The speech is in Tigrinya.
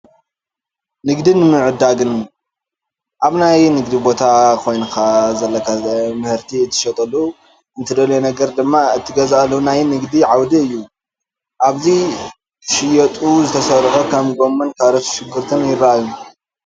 ንግድን ምትዕድዳግን፡- ኣብ ናይ ንግዲ ቦታ ኸይድካ ዘለካ ምህርቲ እትሸጠሉ፣ እትደልዮ ነገር ድማ እትገዝኣሉ ናይ ንግዲ ዓውዲ እዩ፡፡ ኣብዚ ክሽየጡ ዝተዘርግሑ ከም ጎመን፣ ካሮትን ሽጉርትን ይራኣዩ፡፡